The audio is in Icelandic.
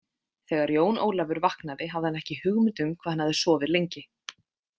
Þegar Jón Ólafur vaknaði hafði hann ekki hugmynd um hvað hann hafði sofið lengi.